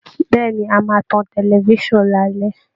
Bẹ́ẹ̀ ni, a máa tan tẹlifisan lálẹ́